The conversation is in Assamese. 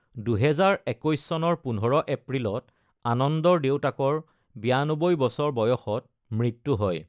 ২০২১ চনৰ ১৫ এপ্ৰিলত আনন্দৰ দেউতাকৰ ৯২ বছৰ বয়সত মৃত্যু হয়।